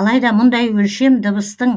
алайда мұндай өлшем дыбыстың